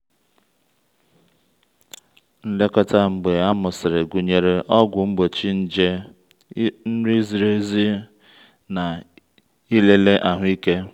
nlekọta mgbe a mụsịrị gụnyere ọgwụ mgbochi nje nri ziri ezi na ịlele ahụike.